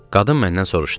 Qadın məndən soruşdu: